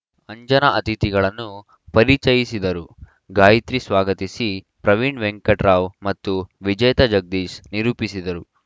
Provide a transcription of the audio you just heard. ಅಂಜನಾ ಅತಿಥಿಗಳನ್ನು ಪರಿಚಯಿಸಿದರು ಗಾಯತ್ರಿ ಸ್ವಾಗತಿಸಿ ಪ್ರವೀಣ ವೆಂಕಟರಾವ್‌ ಮತ್ತು ವಿಜೇತ ಜಗದೀಶ್‌ ನಿರೂಪಿಸಿದರು